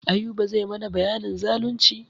Ayuba zai mana bayanin zalunci.